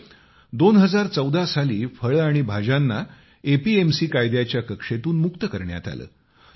मात्र 2014 साली फळे आणि भाज्यांना एपीएमसी कायद्याच्या कक्षेतून मुक्त करण्यात आले